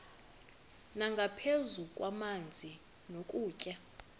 nangaphezu kwamanzi nokutya